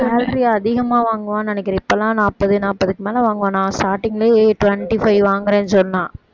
salary அதிகமா வாங்குவான்னு நினக்கிறேன் இப்பவெல்லாம் நாப்பது நாப்பதுக்கு மேல வாங்குவா நான் starting லயே twenty-five வாங்கறேன்னு சொன்னா